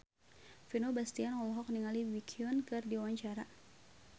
Vino Bastian olohok ningali Baekhyun keur diwawancara